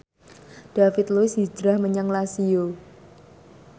David Luiz hijrah menyang Lazio